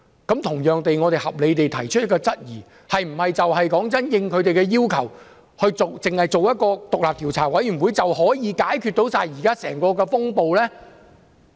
我們因此合理地提出質疑，是否應他們的要求成立獨立調查委員會，便可以解決整個風暴？